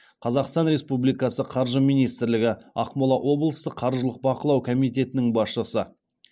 қазақстан республикасы қаржы министрлігі ақмола облыстық қаржылық бақылау комитетінің басшысы